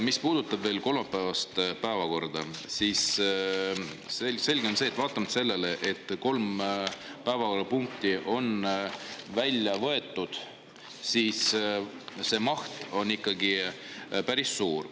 Mis puudutab veel kolmapäevast päevakorda, siis selge on see, et vaatamata sellele, et kolm päevakorrapunkti on välja võetud, on see maht ikkagi päris suur.